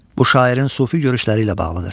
Bu şairin sufi görüşləri ilə bağlıdır.